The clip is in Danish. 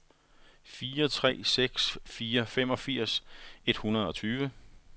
fire tre seks fire femogfirs et hundrede og tyve